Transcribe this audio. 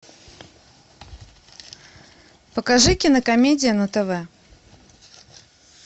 покажи кинокомедию на тв